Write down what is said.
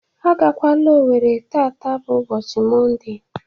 A ga-kwala Owerri taa! Taa bụ ụbọchi Monde.